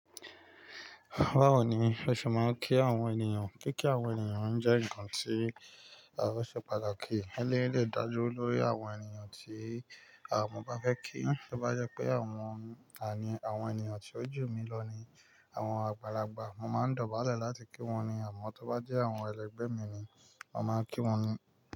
Báwo ni o ṣe máa ń kí àwọn ènìyàn? Kíkí àwọn ènìyàn jẹ́ nkan tí ó ṣe pàtàkì, éléyì dè dá lórí àwọn ènìyàn tí mo bá fẹ́ kí. Tó bá jẹ pé àwọn àwọn ènìyàn tí ojú mi lọ ni àwọn àgbàlagbà, mo máa ń dọ̀bálẹ̀ láti kí wọ́n ní àmọ́ tí ó bá jẹ́ àwọn ẹlẹgbẹ́ mi ni, mo màá kí wọ́n ní.